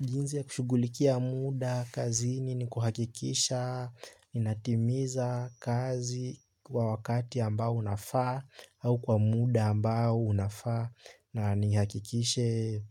Jinsi ya kushughulikia muda kazini ni kuhakikisha, ninatimiza kazi kwa wakati ambao unafaa au kwa muda ambao unafaa na nihakikishe.